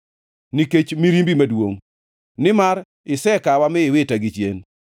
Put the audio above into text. nikech mirimbi maduongʼ, nimar isekawa mi iwita gichien.